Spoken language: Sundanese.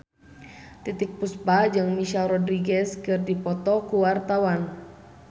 Titiek Puspa jeung Michelle Rodriguez keur dipoto ku wartawan